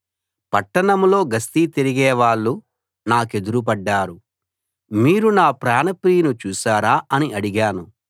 పట్టణంలో గస్తీ తిరిగేవాళ్ళు నాకెదురు పడ్డారు మీరు నా ప్రాణప్రియుని చూశారా అని అడిగాను